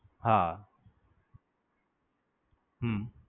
હા હમ